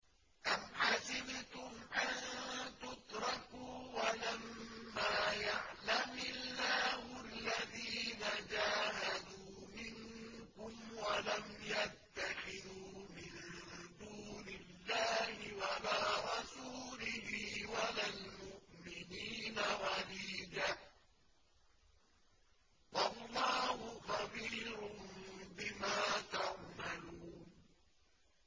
أَمْ حَسِبْتُمْ أَن تُتْرَكُوا وَلَمَّا يَعْلَمِ اللَّهُ الَّذِينَ جَاهَدُوا مِنكُمْ وَلَمْ يَتَّخِذُوا مِن دُونِ اللَّهِ وَلَا رَسُولِهِ وَلَا الْمُؤْمِنِينَ وَلِيجَةً ۚ وَاللَّهُ خَبِيرٌ بِمَا تَعْمَلُونَ